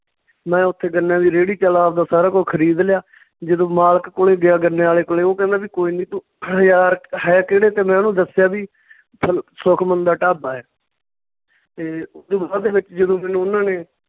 ਮੈਂ ਉੱਥੇ ਗੰਨਿਆਂ ਦੀ ਰੇਹੜੀ ਚੱਲ ਆਵਦਾ ਸਾਰਾ ਕੁੱਝ ਖਰੀਦ ਲਿਆ ਜਦੋਂ ਮਾਲਕ ਕੋਲੇ ਗਿਆ ਗੰਨੇ ਵਾਲੇ ਕੋਲੇ, ਉਹ ਕਹਿੰਦਾ ਵੀ ਕੋਈ ਨੀ ਤੂੰ ਹਜਾਰ ਕੁ ਹੈ ਕਿਹੜੇ ਤੇ ਮੈਂ ਉਹਨੂੰ ਦੱਸਿਆ ਵੀ ਸੁਖਮਣ ਦਾ ਢਾਬਾ ਏ ਤੇ ਓਦੂ ਬਾਅਦ ਦੇ ਵਿੱਚ ਜਦੋਂ ਮੈਨੂੰ ਉਨ੍ਹਾਂ ਨੇ